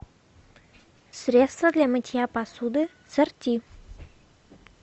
средство для мытья посуды сорти